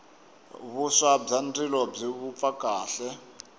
vuswa bya ndzilo byi vupfa kahle